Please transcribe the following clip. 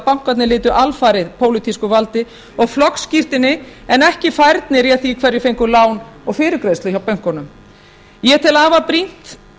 bankarnir lutu alfarið pólitísku valdi og flokksskírteini en ekki færni réð því hverjir fengu lán og fyrirgreiðslu hjá bönkunum ég tel afar brýnt